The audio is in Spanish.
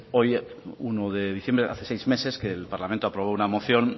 hoy uno de diciembre hace seis meses que el parlamento aprobó una moción